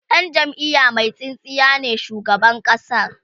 Dan jamiya Mai tsintsiya ne shugaban ƙasa